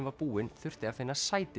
var búin þurfti að finna sæti